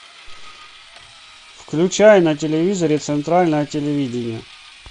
включай на телевизоре центральное телевидение